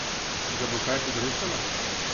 Ga bo kaj pogrešala?